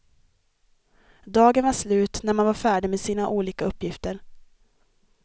Dagen var slut när man var färdig med sina olika uppgifter.